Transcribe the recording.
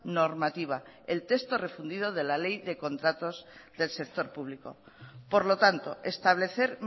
normativa el texto refundido de la ley de contratos del sector público por lo tanto establecer